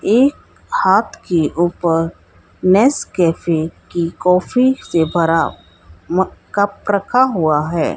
एक हाथ के ऊपर नेस्कैफे की काफी से भरा म कप रखा हुआ है।